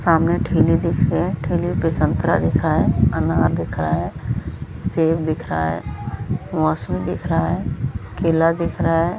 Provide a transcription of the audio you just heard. सामने ठेले दिख रहे है ठेले पे सन्तरा दिख रहा है अनार दिख रहा है सेब दिख रहा है मोसमी दिख रहा है केला दिख रहा हैं ।.